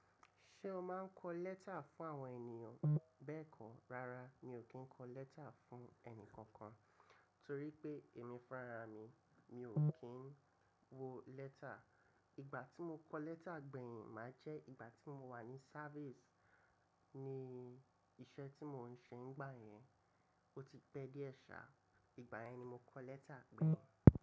Ṣé o máa ń kọ lẹ́tà fún àwọn ènìyàn? Bẹ́ẹ̀kọ́, rárá mi ò kí ń kọ lẹ́tà fún ẹnìkankan torí pé èmi fun rarami, mi ò kí ń wo lẹ́tà. Ìgbà tí mo kọ lẹ́tà gbẹ̀yìn máa jẹ́ ìgbà tí mo wà ní sávìsì ni iṣẹ́ tí mò ń ṣe nígbà yẹn, ó ti pẹ́ díe sà. Ìgbà yẹn ni mo kọ lẹ́tà gbẹ̀yìn.